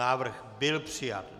Návrh byl přijat.